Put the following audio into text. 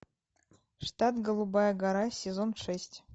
штат голубая гора сезон шесть